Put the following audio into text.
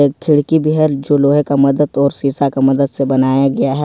खिड़की भी है जो लोहे का मदद और शीशा का मदद से बनाया गया है।